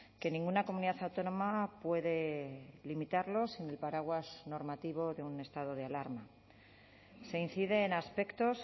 que ninguna comunidad autónoma puede limitarlos sin el paraguas normativo de un estado de alarma se incide en aspectos